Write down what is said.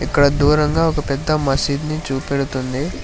ఇక్కడ దూరంగా ఒక పెద్ద మసీద్ని చూపెడుతుంది